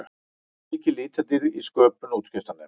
Mikil litadýrð í sköpun útskriftarnema